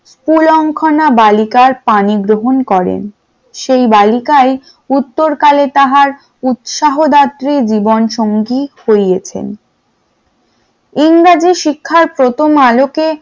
কুলাংখানা বালিকার পানি গ্রহণ করেন, সেই বালিকা উত্তর কালে তাহার উৎসাহদত্রী জীবনসঙ্গী হইয়াছেন । ইংরেজি শিক্ষার প্রথম আলোকে